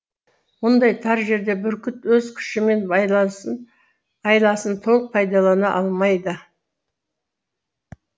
мұндай тар жерде бүркіт өз күші мен айласын толық пайдалана алмайды